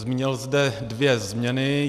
Zmínil zde dvě změny.